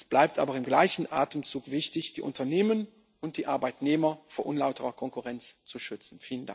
Es bleibt aber im gleichen Atemzug wichtig, die Unternehmen und die Arbeitnehmer vor unlauterer Konkurrenz zu schützen.